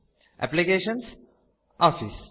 एप्लिकेशन्सग्टॉफिस्